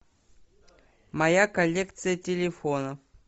моя коллекция телефонов